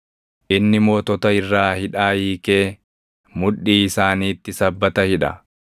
Inni mootota irraa hidhaa hiikee, mudhii isaaniitti sabbata hidha.